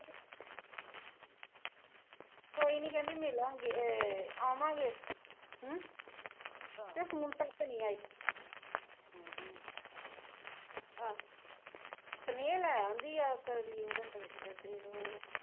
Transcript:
ਕੋਈ ਨਹੀਂ ਕਹਿੰਦੀ ਮਿਲਾਂਗੇ ਅਹ ਆਵਾਂਗੇ ਅਸੀਂ ਹਮ ਤੇ ਹੁਣ ਤੱਕ ਨਹੀਂ ਆਈ ਆਹੋ ਸਨੇਹਾ ਲੈ ਆਉਂਦੀ ਆ ਕਦੀ ਓਹਦਾ ਕਲਚਰ ਦੇ ਦੋ